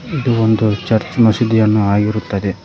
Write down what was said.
ಇದು ಒಂದು ಚರ್ಚ್ ಮಸೀದಿಯನ್ನು ಆಗಿರುತ್ತದೆ.